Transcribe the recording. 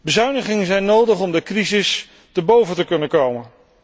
Bezuinigingen zijn nodig om de crisis te boven te kunnen komen.